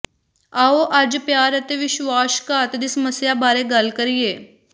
ਆਉ ਅੱਜ ਪਿਆਰ ਅਤੇ ਵਿਸ਼ਵਾਸਘਾਤ ਦੀ ਸਮੱਸਿਆ ਬਾਰੇ ਗੱਲ ਕਰੀਏ